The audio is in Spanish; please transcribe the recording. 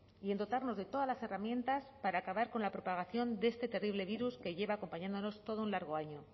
y en dotarnos de todas las herramientas para acabar con la propagación de este terrible virus que lleva acompañándonos todo un largo año